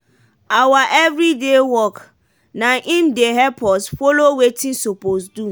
awa everyday work dey na i'm dey help us follow wetin sopose do.